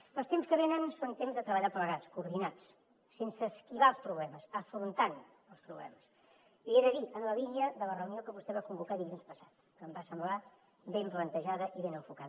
perquè els temps que venen són temps de treballar plegats coordinats sense esquivar els problemes afrontant els problemes l’hi he de dir en la línia de la reunió que vostè va convocar dilluns passat que em va semblar ben plantejada i ben enfocada